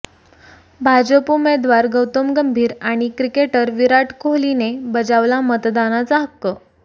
भाजप उमेदवार गौतम गंभीर आणि क्रिकेटर विराट कोहलीने बजावला मतदानाचा हक्क